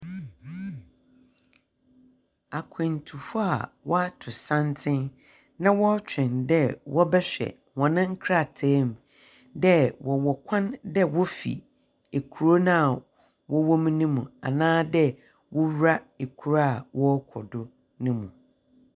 Akwantufo a wɔato santen na wɔretwɛn dɛ wɔbɛhwɛ wɔn nkrataa mu dɛ wɔwɔ kwan dɛ wɔfi kuro no a wɔwɔ mu ne mu anaa dɛ wɔwura kuro a wɔrekɔ do ne mu.